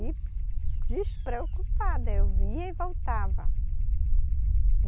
E despreocupada, eu ia e voltava.